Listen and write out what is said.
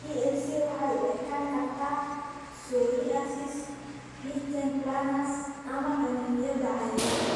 PLC waxay u ekaan kartaa psoriasis, lichen planus, ama qaniinyada cayayaanka.